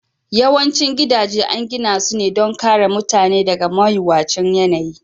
Yawancin gidaje an gina su ne don kare mutane daga mawuyacin yanayi